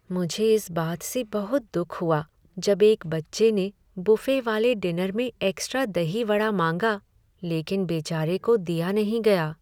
मुझे इस बात से बहुत दुख हुआ जब एक बच्चे ने बुफ़े वाले डिनर में एक्स्ट्रा दही वड़ा माँगा लेकिन बेचारे को दिया नहीं गया।